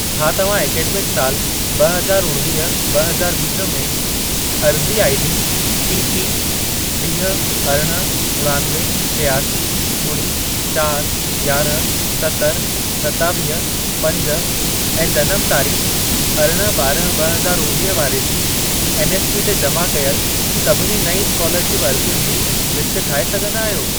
छा तव्हां ऐकडेमिक साल ब॒ हज़ार उणिवीह, ब॒ हज़ार वीह में, अर्ज़ी आईडी टीपी वीह, अरिड़हं, उणानवे, टियासी, ॿुड़ी, चारि, यारहं, सतरि, सतावीह, पंज ऐं जनम तारीख़ अरिड़हं ॿारहं ब॒ हज़ार उणिवीह वारे जी एनएसपी ते जमा कयल सभिनी नईं स्कोलरशिप अर्ज़ियुनि जी लिस्ट ठाहे सघंदा आहियो?